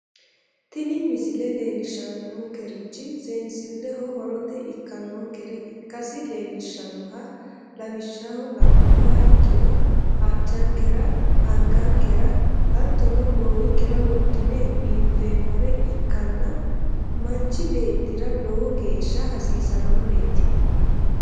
tini misile leellishshannorichi seenssilleho horote ikkannonkere ikkasi leellishshanno lawishshaho la'nummoha ikkiroaccankera, angichinkera, hattono goowinkera wodhine biinfeemmore ikkanna manchi beettira lowo geeshsha hasiisannoreeti.